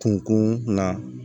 Kunkun na